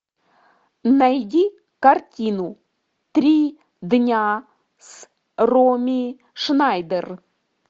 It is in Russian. найди картину три дня с роми шнайдер